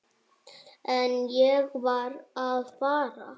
En ég varð að fara.